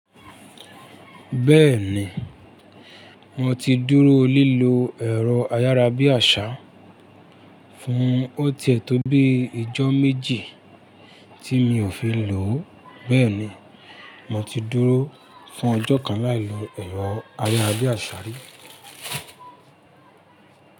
Bẹ́ẹ̀ni, mo ti dúró lílo ẹ̀rọ ayárabíàṣá fún ọtí ẹ̀tọ́ bíi ìjọ́ méjì tí mi ò fi lò ó. Bẹ́ẹ̀ ni, mo ti dúró fún ọjọ́ kan láì lo ẹ̀rọ ayárabíàṣà rí.